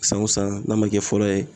San o san n'a ma kɛ fɔlɔ ye